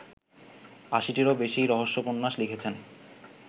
৮০-টিরও বেশী রহস্যোপন্যাস লিখেছেন